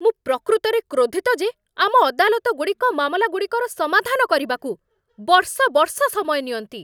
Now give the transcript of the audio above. ମୁଁ ପ୍ରକୃତରେ କ୍ରୋଧିତ ଯେ ଆମ ଅଦାଲତଗୁଡ଼ିକ ମାମଲାଗୁଡ଼ିକର ସମାଧାନ କରିବାକୁ ବର୍ଷ ବର୍ଷ ସମୟ ନିଅନ୍ତି।